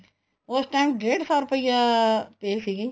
ਉਸ time ਡੇਡ ਸੋ ਰੁਪਿਆ pay ਸੀਗੀ